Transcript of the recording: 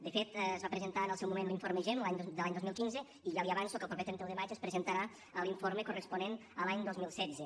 de fet es va presentar en el seu moment l’informe gem de l’any dos mil quinze i ja li avanço que el proper trenta un de maig es presentarà l’informe corresponent a l’any dos mil setze